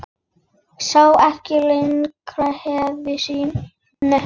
Sá ekki lengra nefi sínu.